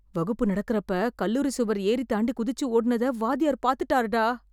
வகுப்பு நடக்கறப்ப கல்லூரி சுவர் ஏறித் தாண்டி குதிச்சு ஓடுனத வாத்தியார் பாத்துட்டார்டா!